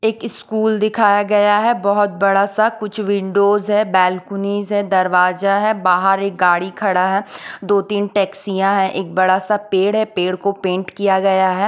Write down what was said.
एक ईस्कूल दिखाया गया हैं बहोत बड़ा सा कुछ विंडोज हैं बॅलकुनीज हैं दरवाजा हैं बाहर एक गाड़ी खड़ा हैं दो तीन टैक्सियाँ हैं एक बड़ा सा पेड़ हैं पेड़ को पेंट किया गया हैं।